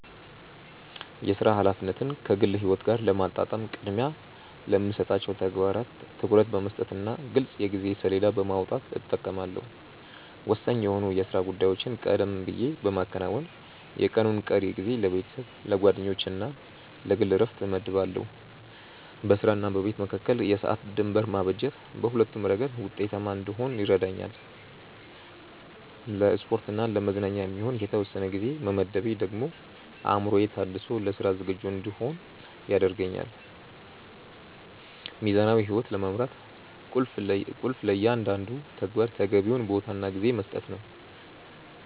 የሥራ ኃላፊነትን ከግል ሕይወት ጋር ለማጣጣም ቅድሚያ ለሚሰጣቸው ተግባራት ትኩረት በመስጠትና ግልጽ የጊዜ ሰሌዳ በማውጣት እጠቀማለሁ። ወሳኝ የሆኑ የሥራ ጉዳዮችን ቀደም ብዬ በማከናወን፣ የቀኑን ቀሪ ጊዜ ለቤተሰብ፣ ለጓደኞችና ለግል ዕረፍት እመድባለሁ። በሥራና በቤት መካከል የሰዓት ድንበር ማበጀት በሁለቱም ረገድ ውጤታማ እንድሆን ይረዳኛል። ለስፖርትና ለመዝናኛ የሚሆን የተወሰነ ጊዜ መመደቤ ደግሞ አእምሮዬ ታድሶ ለሥራ ዝግጁ እንድሆን ያደርገኛል። ሚዛናዊ ሕይወት ለመምራት ቁልፉ ለእያንዳንዱ ተግባር ተገቢውን ቦታና ጊዜ መስጠት ነው።